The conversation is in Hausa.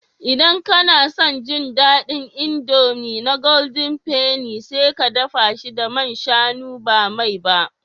Idan kana son ji daɗin indomie na golden penny, sai ka dafa shi da man shanu ba mai ba